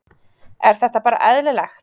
Er þetta bara eðlilegt?